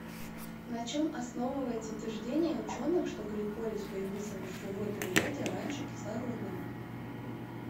на чем основывается утверждение ученых что гликолиз появился в живой природе раньше кислородного